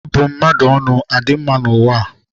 Ịbụ mmadụ adị mma n'ụwa a?